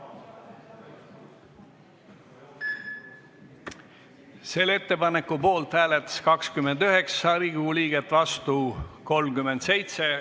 Hääletustulemused Ettepaneku poolt hääletas 29 Riigikogu liiget, vastu oli 37.